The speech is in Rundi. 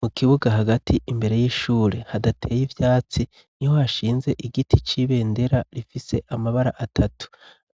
mu kibuga hagati imbere y'ishure hadateye ivyatsi, niho hashinze igiti c''ibendera rifise amabara atatu.